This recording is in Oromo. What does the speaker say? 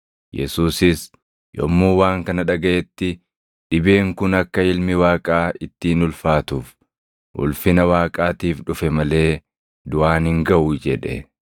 Yesuusis yommuu waan kana dhagaʼetti, “Dhibeen kun akka Ilmi Waaqaa ittiin ulfaatuuf, ulfina Waaqaatiif dhufe malee duʼaan hin gaʼu” jedhe.